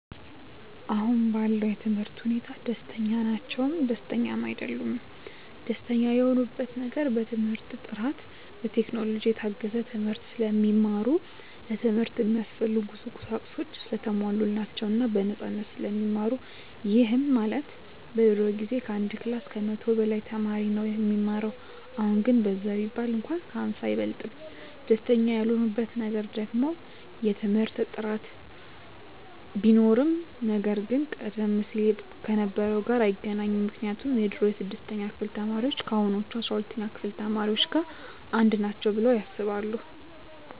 አሁን ባለው የትምህርት ሁኔታ ደስተኛ ናቸውም ደስተኛም አይደሉምም። ደስተኛ የሆኑበት ነገር በትምህርት ጥራቱ፣ በቴክኖሎጂ የታገዘ ትምህርት ስለሚማሩ፣ ለትምህርት እሚያስፈልጉ ቁሳቁሶች ሰለተሟሉላቸው እና በነፃነት ስለሚማሩ ይህም ማለት በድሮ ጊዜ ከአንድ ክላስ ከመቶ በላይ ተማሪ ነው እሚማረው አሁን ግን በዛ ቢባል እንኳን ከ ሃምሳ አይበልጥም። ደስተኛ ያልሆኑበት ነገር ደግሞ የትምህርት ጥራት ቢኖርም ነገር ግን ቀደም ሲል ከነበረው ጋር አይገናኝም ምክንያቱም የድሮ የስድስተኛ ክፍል ተማሪዎች ከአሁኖቹ አስራ ሁለተኛ ክፍል ተማሪዎች ጋር አንድ ናቸው ብለው ያስባሉ።